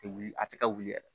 Tɛ wuli a tɛ ka wuli dɛ